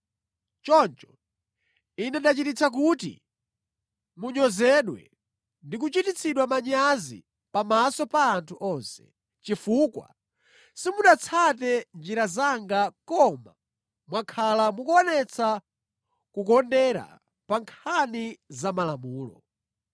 “Choncho Ine ndachititsa kuti munyozedwe ndi kuchititsidwa manyazi pamaso pa anthu onse, chifukwa simunatsate njira zanga koma mwakhala mukuonetsa kukondera pa nkhani za malamulo.”